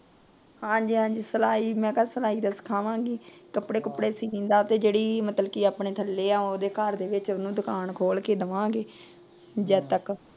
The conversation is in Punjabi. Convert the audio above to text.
ਹਾਂਜੀ ਹਾਂਜੀ, ਮੈ ਤਾਂ ਸਿਲਾਈ ਦਾ ਮੈ ਤਾਂ ਸਿਲਾਈ ਦਾ ਸਿਖਾਵਾਂਗੀ। ਕੱਪੜੇ ਕੁਪੜੇ ਸੀਨ ਦਾ ਤੇ ਜਿਹੜੀ ਮਤਲਬ ਕੀ ਆਪਣੇ ਥੱਲੇ ਆ ਉਹਂਦੇ ਘਰ ਦੇ ਵਿੱਚ ਉਹਨੂੰ ਦੁਕਾਨ ਖੋਲ ਕੇ ਦਵਾਂਗੀ। ਜਦ ਤੱਕ।